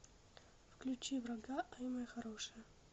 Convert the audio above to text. включи врага ай моя хорошая